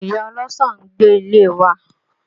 Ìyá ọlọ́sàn ń gbé ilé wa